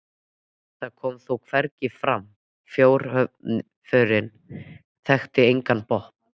það kom þó hvergi fram: fjárþörfin þekkti engan botn.